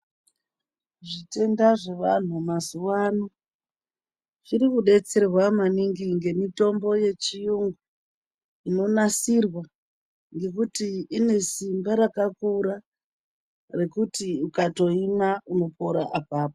Zvitenda zvevanhu mazuwa ano zvirikudetserwa maningi ngemitombo yechiyungu inonasirwa ngekuti ine simba rakakura rekuti ukatoimwa unopona apapo.